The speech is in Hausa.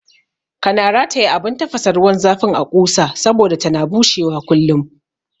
Kana rataya abun tafasa ruwan zafin a ƙusa saboda tana bushewa kullum